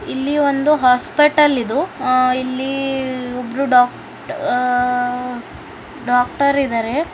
ಇಲ್ಲಿ ಒಂದು ಹಾಸ್ಪಿಟಲ್ ಇದು ಇಲ್ಲಿ ಒಬ್ರು ಡಾಕ್ಟರ್ ಡಾಕ್ಟರ್ ಇದ್ದಾರೆ.